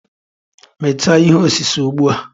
Mechaa ihe osise ugbua.